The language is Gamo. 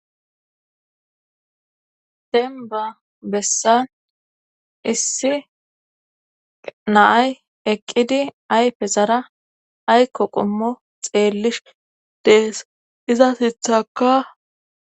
tenba bessan issi naay eqqidi ay pesara ayko qommo xeellish dees iza sithaka